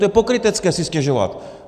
To je pokrytecké si stěžovat.